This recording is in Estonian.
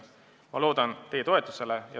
Ma loodan teie toetusele.